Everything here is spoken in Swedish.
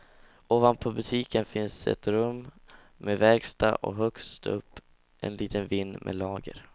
Ovanpå butiken finns ett rum med verkstad, och högst upp en liten vind med lager.